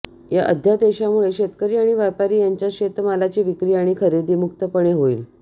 या अध्यादेशामुळे शेतकरी आणि व्यापारी यांच्यात शेतमालाची विक्री आणि खरेदी मुक्तपणे होईल